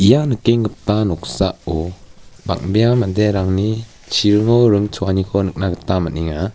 ia nikengipa noksao bang·bea manderangni chiringo ring choaniko nikna gita man·enga.